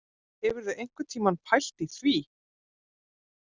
Hefurðu einhvern tíma pælt í því